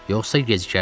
Yoxsa gecikərsən.